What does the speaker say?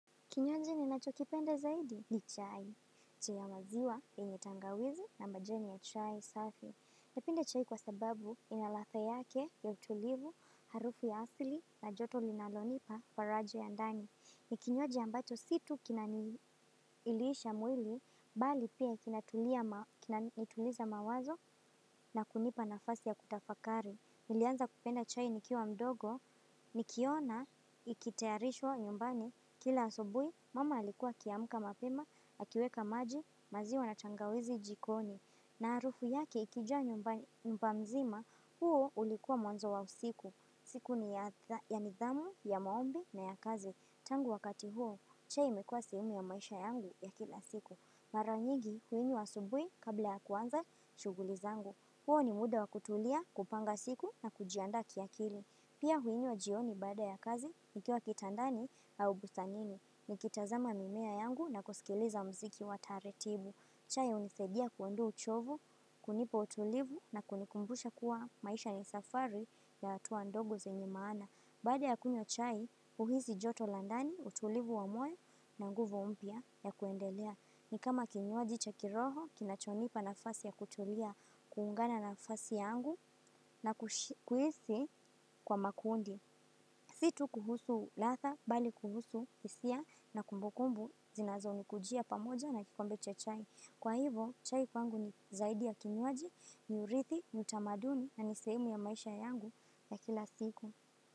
Kinywaji ninacho kipenda zaidi ni chai, chai ya maziwa, enye tangawizi na majeni ya chai safi. Napende chai kwa sababu ina ladha yake ya utulivu, harufu ya asili na joto linalonipa farajo ya ndani. Ni kinywaji ambacho si tu kinaniilisha mwili, bali pia kinatuliza mawazo na kunipa nafasi ya kutafakari. Nilianza kupenda chai nikiwa mdogo nikiona ikitayarishwa nyumbani kila asubuhi, mama alikuwa akiamka mapema, akiweka maji, maziwa na tangawizi jikoni. Na harufu yaki ikijaa nyumba mzima, huo ulikuwa mwanzo wa usiku. Siku ni ya nidhamu, ya maombi na ya kazi. Tangu wakati huo, chai imekua sehemu ya maisha yangu ya kila siku. Mara nyingi huinywa asubuhi kabla ya kuanza shughuli zangu. Huo ni muda wa kutulia, kupanga siku na kujiandaa ki akili. Pia huinywa jioni baada ya kazi nikiwa kitandani au bustanini. Nikitazama mimea yangu na kusikiliza chai hunisaidia kuondoa uchovu, kunipa utulivu na kunikumbusha kuwa maisha ni safari ya hatua ndogo zenye maana. Baada ya kunywa chai huhisi ni kama kinywaji cha kiroho kinacho nipa nafasi ya kutulia kuungana na nafasi yangu na kuhisi kwa makundi. Si tu kuhusu ladha bali kuhusu hisia na kumbukumbu zinazo nikujia pamoja na kikombe cha chai. Kwa hivo, chai kwangu ni zaidi ya kinywaji ni urithi, ni utamaduni na ni sehemu ya maisha yangu na kila siku.